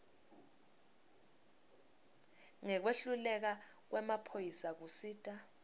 ngekwehluleka kwemaphoyisa kusita